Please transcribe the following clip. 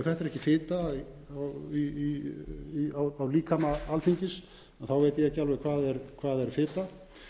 þetta er ekki fita á líkama alþingis veit ég ekki alveg hvað